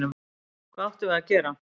Hvað áttum við að gera?